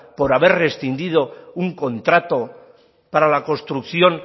por haber rescindido un contrato para la construcción